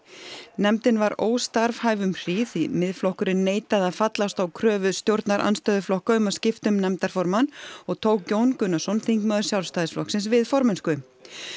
nefndin var óstarfhæf um hríð því Miðflokkurinn neitaði að fallast á kröfu stjórnarandstöðuflokka um að skipta um nefndarformann og tók Jón Gunnarsson þingmaður Sjálfstæðisflokksins við formennsku